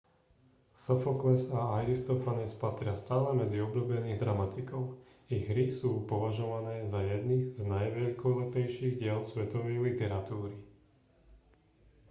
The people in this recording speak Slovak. sofokles a aristofanes patria stále medzi obľúbených dramatikov ich hry sú považované za jedny z najveľkolepejších diel svetovej literatúry